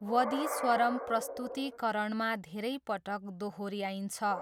वदी स्वरम् प्रस्तुतीकरणमा धेरै पटक दोहोऱ्याइन्छ।